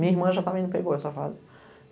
Minha irmã já também não pegou essa fase.